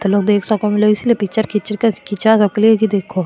तो लोग देख सके इसलिए पिक्चर खींच --